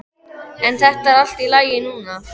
En þetta er allt í lagi núna.